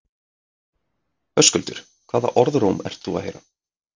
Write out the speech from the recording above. Höskuldur: Hvaða orðróm ert þú að heyra?